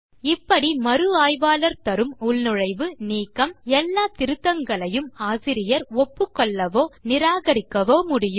இப்படி மறு ஆய்வாளர் தரும் உள்நுழைவு நீக்கம் எல்லா திருத்தங்களையும் ஆசிரியர் ஒப்புக்கொள்ளவோ நிராகரிக்கவோ முடியும்